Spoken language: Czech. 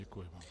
Děkuji.